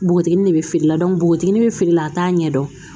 Npogotigini de bɛ feere la npogotiginin bɛ feere la a t'a ɲɛ dɔn